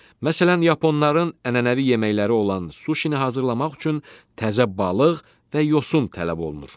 Məsələn, yaponların ənənəvi yeməkləri olan suşini hazırlamaq üçün təzə balıq və yosun tələb olunur.